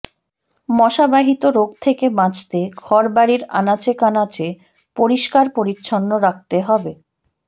মশা বাহিত রোগ থেকে বাঁচতে ঘরবাড়ির আনাচে কানাচে পরিষ্কার পরিচ্ছন্ন রাখতে হবে